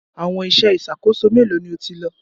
Àwọn iṣẹ́ ìṣàkóso mélòó ni o ti lò?